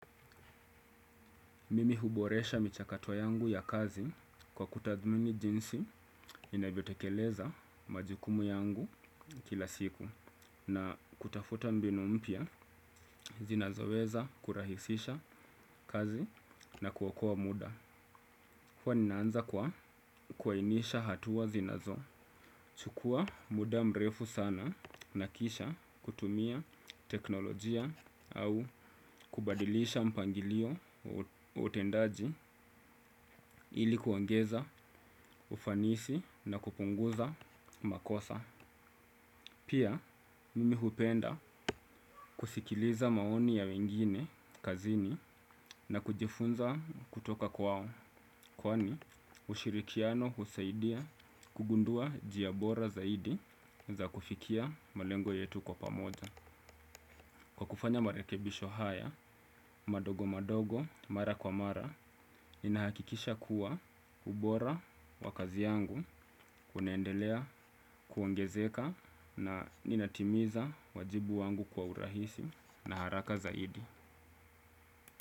Mimi huboresha michakato yangu ya kazi kwa kutathmini jinsi ninavyotekeleza majukumu yangu kila siku na kutafuta mbinu mpya zinazoweza kurahisisha kazi na kuokoa muda. Huwa ninaanza kwa kuainisha hatua zinazo. Chukua muda mrefu sana na kisha kutumia teknolojia au kubadilisha mpangilio wa utendaji ili kuongeza ufanisi na kupunguza makosa. Pia, mimi hupenda kusikiliza maoni ya wengine kazini na kujifunza kutoka kwao, kwani ushirikiano husaidia kugundua njia bora zaidi za kufikia malengo yetu kwa pamoja. Kwa kufanya marekebisho haya, madogo madogo, mara kwa mara, ninahakikisha kuwa ubora wa kazi yangu unaendelea kuongezeka na ninatimiza wajibu wangu kwa urahisi na haraka zaidi.